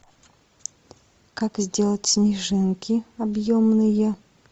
как сделать снежинки объемные